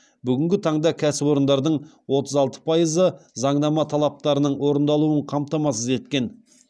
бүгінгі таңда кәсіпорындардың отыз алты пайызы заңнама талаптарының орындалуын қамтамасыз еткен